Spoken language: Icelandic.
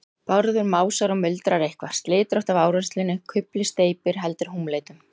Bárður másar og muldrar eitthvað, slitrótt af áreynslunni. kufli steypir. heldur húmleitum.